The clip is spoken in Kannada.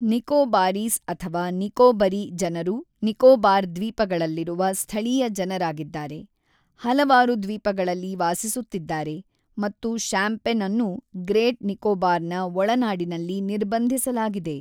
ನಿಕೋಬಾರೀಸ್ ಅಥವಾ ನಿಕೋಬರಿ ಜನರು ನಿಕೋಬಾರ್ ದ್ವೀಪಗಳಲ್ಲಿರುವ ಸ್ಥಳೀಯ ಜನರಾಗಿದ್ದಾರೆ, ಹಲವಾರು ದ್ವೀಪಗಳಲ್ಲಿ ವಾಸಿಸುತ್ತಿದ್ದಾರೆ ಮತ್ತು ಶಾಂಪೆನ್ ಅನ್ನು ಗ್ರೇಟ್ ನಿಕೋಬಾರ್‌ನ ಒಳನಾಡಿನಲ್ಲಿ ನಿರ್ಬಂಧಿಸಲಾಗಿದೆ.